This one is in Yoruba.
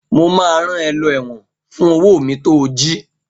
Mo máa rán ẹ lọ ẹ̀wọ̀n fún owó mi to jí!